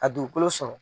A dugukolo sɔrɔ